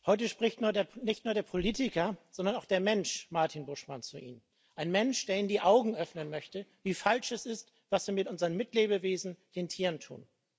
Heute spricht nicht nur der Politiker, sondern auch der Mensch Martin Buschmann zu Ihnen. Ein Mensch, der Ihnen die Augen öffnen möchte, wie falsch es ist, was wir mit unseren Mitlebewesen den Tieren tun.